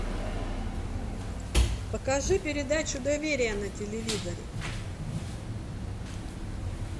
покажи передачу доверие на телевизоре